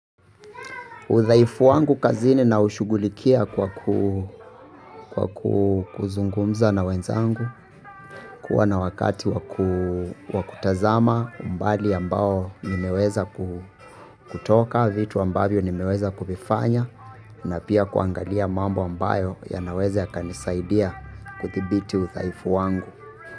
Uthaifu wangu kazini naushugulikia kwa kuzungumza na wenzangu, kuwa na wakati wakutazama umbali ambao nimeweza kutoka, vitu ambavyo nimeweza kuvifanya, na pia kuangalia mambo ambayo yanaweza yakanisaidia kuthibiti uthaifu wangu.